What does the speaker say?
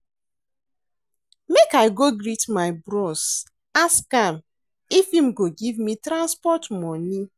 Make I go greet my bros, ask am if im go give me transport moni.